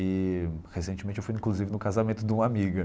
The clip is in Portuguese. E, recentemente, eu fui, inclusive, no casamento de uma amiga.